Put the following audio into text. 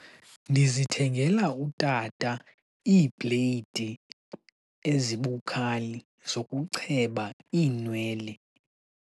Ndizithengela utata iibleyidi ezibukhali zokucheba iinwele.